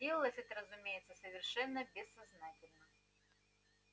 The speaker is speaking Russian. делалось это разумеется совершенно бессознательно